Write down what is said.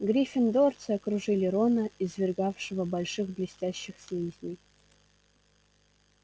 гриффиндорцы окружили рона извергавшего больших блестящих слизней